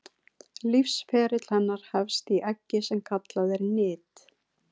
lífsferill hennar hefst í eggi sem kallað er nit